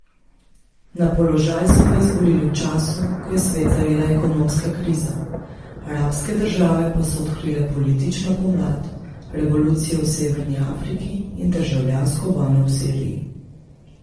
Na položaj so ga izvolili v času, ko je svet zajela ekonomska kriza, arabske države pa so odkrile politično pomlad, revolucije v severni Afriki in državljansko vojno v Siriji.